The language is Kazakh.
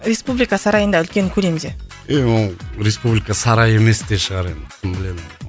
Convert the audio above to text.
республика сарайында үлкен көлемде е оны республика сарайы емес те шығар енді кім біледі оны